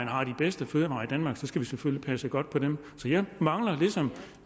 har de bedste fødevarer i danmark skal vi selvfølgelig passe godt på dem så jeg mangler ligesom